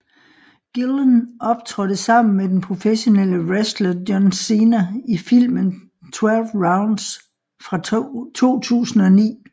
Gillen optrådte sammen med den professionelle wrestler John Cena i filmen 12 Rounds fra 2009